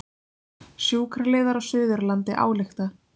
Sjúkraliðar á Suðurlandi álykta